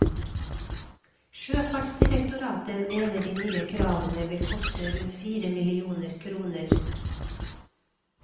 Sjøfartsdirektoratet mener de nye kravene vil koste rundt fire millioner kroner.